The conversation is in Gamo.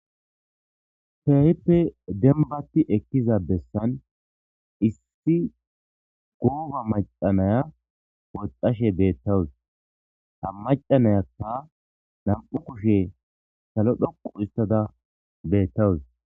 Kehippe denbati ekiza bessizan issi goba macca naya woxashshe betawus ha macca nayakka ba kushshe salo denththada woxashshe betawus